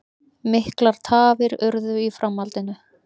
Miklar tafir urðu í framhaldinu